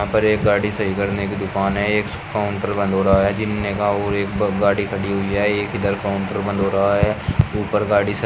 पर एक गाड़ी सही करने की दुकान है एक काउंटर बंद हो रहा है जीने का और एक गाड़ी खड़ी हुई है एक इधर काउंटर बंद हो रहा है ऊपर गाड़ी--